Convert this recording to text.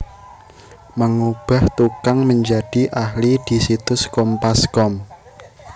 Mengubah tukang menjadi ahli disitus Kompas com